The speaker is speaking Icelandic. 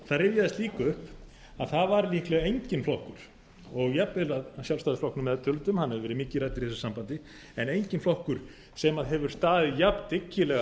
það rifjaðist líka upp að það var líklega enginn flokkur og jafnvel að sjálfstæðisflokknum meðtöldum hann hefur verið mikið ræddur í þessu sambandi en enginn flokkur sem hefur staðið jafndyggilega